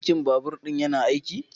Birkin babur ɗin yana aiki?